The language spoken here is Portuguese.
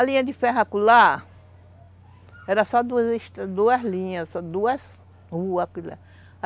A linha de ferro acolá, era só duas linhas, só duas ruas.